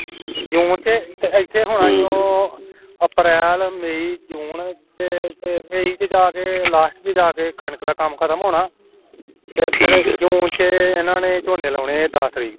ਜੂਨ ਚ ਤੇ ਇਥੇ ਹੁਣ ਅਪ੍ਰੈਲ, ਮਈ, ਜੂਨ, ਤੇ ਤੇ ਮਈ ਚ ਜਾਕੇ last ਚ ਜਾ ਕੇ ਕਣਕ ਦਾ ਕੱਮ ਖਟਕ ਹੋਣਾ ਜੂਨ ਚ ਇਹਨਾਂ ਨੇ ਝੋਨੇ ਲਾਣੇ ਦੱਸ ਤਰੀਕ ਤਕ